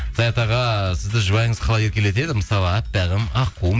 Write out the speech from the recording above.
саят аға сізді жұбайыңыз қалай еркелетеді мысалы аппағым аққуым